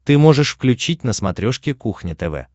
ты можешь включить на смотрешке кухня тв